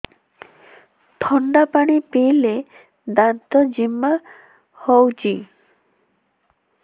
ଥଣ୍ଡା ପାଣି ପିଇଲେ ଦାନ୍ତ ଜିମା ହଉଚି